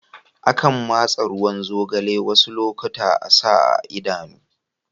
Akan masa ruwan zogalai wasu lokatai a'sa a Idanu.